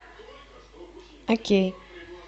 окей